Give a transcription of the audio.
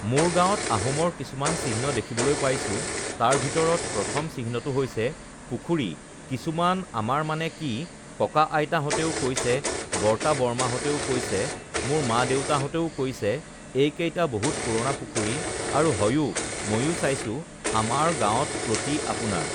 মোৰ গাঁৱত আহোমৰ কিছুমান চিহ্ন দেখিবলৈ পাইছোঁ তাৰ ভিতৰত প্ৰথম চিহ্নটো হৈছে পুখুৰী কিছুমান আমাৰ মানে কি ককা-আইতাহঁতেও কৈছে বৰ্তা-বৰমাহঁতেও কৈছে মোৰ মা-দেউতাহঁতেও কৈছে এইকেইটা বহুত পুৰণা পুখুৰী আৰু হয়ও ময়ো চাইছোঁ আমাৰ গাঁৱত প্ৰতি আপোনাৰ